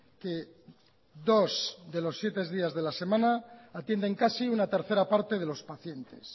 que dos de los siete días de la semana atienden casi una tercera parte de los pacientes